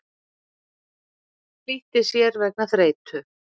Flýtti sér vegna þreytu